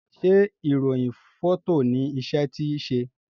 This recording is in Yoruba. ṣe irohin Fọto ní iṣé tí ṣe?